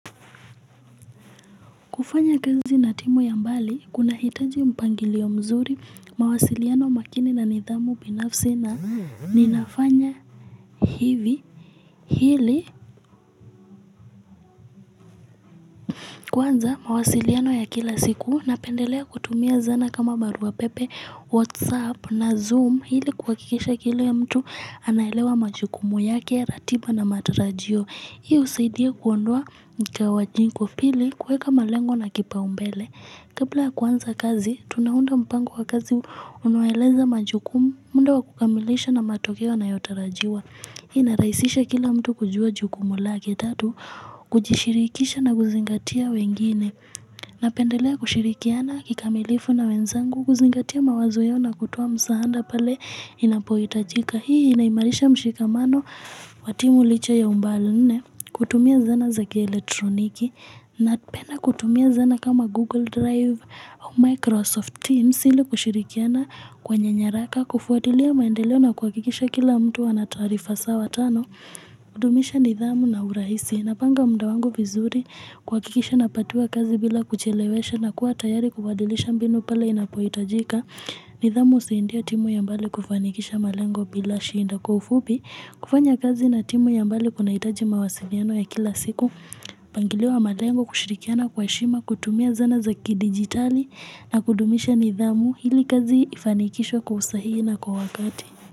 Kufanya kazi na timu ya mbali kunahitaji mpangilio mzuri mawasiliano makini na nidhamu binafsi na ninafanya hivi hili Kwanza mawasiliano ya kila siku napendelea kutumia zana kama barua pepe, whatsapp na zoom hili kuhakikisha kile mtu anaelewa majukumu yake, ratiba na matarajio. Hii husaidia kuondoa mtawanyiko pili kuweka malengo na kipaumbele. Kapla ya kuanza kazi, tunaunda mpango wa kazi unoeleza majukumu, munda wa kukamilisha na matokeo yanayotarajiwa. Hii inarahisisha kila mtu kujua jukumu lake tatu, kujishirikisha na kuzingatia wengine, napendelea kushirikiana kikamilifu na wenzangu, kuzingatia mawazo yao na kutoa msaada pale inapohitajika. Hii inaimarisha mshikamano wa timu licha ya umbali nne kutumia zana za kielektroniki napenda kutumia zana kama Google Drive au Microsoft Teams ili kushirikiana kwenye nyaraka kufuatilia maendeleo na kuhakikisha kila mtu ana taarifa sawa tano kudumisha nidhamu na urahisi napanga muda wangu vizuri kuhakikisha napatiwa kazi bila kuchelewesha na kuwa tayari kubadilisha mbinu pale inapohitajika nidhamu usaindia timu ya mbali kufanikisha malengo bila shinda kwa ufupi, kufanya kazi na timu ya mbali kunahitaji mawasiliano ya kila siku, mpangilio wa malengo kushirikiana kwa heshima, kutumia zana za kidigitali na kudumisha nidhamu hili kazi ifanikishwe kwa usahihi na kwa wakati.